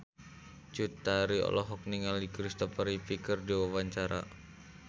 Cut Tari olohok ningali Kristopher Reeve keur diwawancara